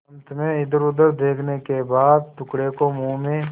अंत में इधरउधर देखने के बाद टुकड़े को मुँह में